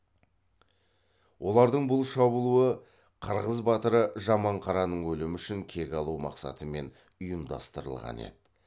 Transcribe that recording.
олардың бұл шабылуы қырғыз батыры жаманқараның өлімі үшін кек алу мақсатымен ұйымдастырылған еді